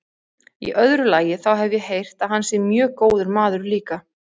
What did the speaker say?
Í öðru lagi, þá hef ég heyrt að hann sé mjög góður maður líka.